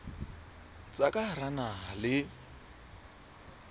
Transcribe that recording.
tsa ka hara naha le